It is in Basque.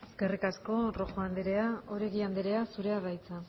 eskerrik asko rojo andrea oregi andrea zurea da hitza